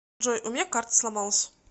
джой у меня карта сломалась